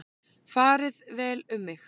Farið vel um mig?